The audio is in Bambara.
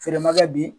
Feere ma kɛ bi